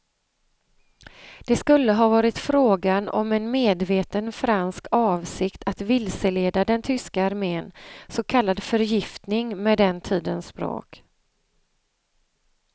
Det skulle ha varit frågan om en medveten fransk avsikt att vilseleda den tyska armen, så kallad förgiftning med den tidens språk.